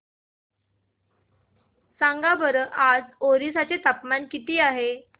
सांगा बरं आज ओरिसा चे तापमान किती आहे